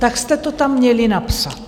Tak jste to tam měli napsat!